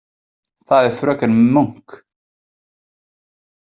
Það er fröken Munk.